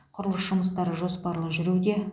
құрылыс жұмыстары жоспарлы жүруде